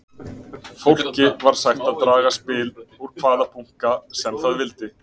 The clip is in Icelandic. Fólki var sagt að draga spil úr hvaða bunka sem það vildi.